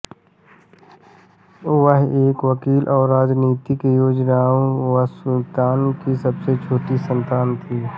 वह एक वकील और राजनीतिज्ञ योजिरो मात्सुतानि की सबसे छोटी संतान थीं